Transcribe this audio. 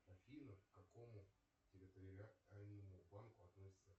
афина к какому территориальному банку относится